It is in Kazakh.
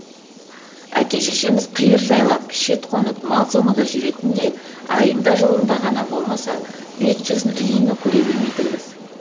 әке шешеміз қиыр жайлап шет қонып мал соңында жүретін де айында жылында ғана болмаса бет жүзін үнемі көре бермейтінбіз